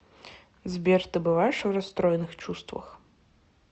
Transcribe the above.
сбер ты бываешь в расстроенных чувствах